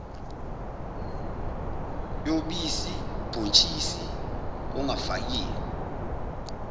yobisi ubhontshisi ongafakiwe